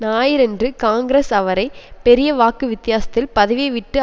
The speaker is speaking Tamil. ஞாயிறன்று காங்கிரஸ் அவரை பெரிய வாக்குவித்தியாசத்தில் பதவியை விட்டு